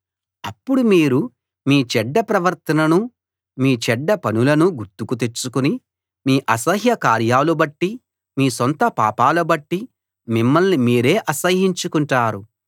అప్పుడు మీరు మీ చెడ్డ ప్రవర్తననూ మీ చెడ్డ పనులనూ గుర్తుకు తెచ్చుకుని మీ అసహ్య కార్యాలు బట్టి మీ సొంత పాపాల బట్టి మిమ్మల్ని మీరే అసహ్యించుకుంటారు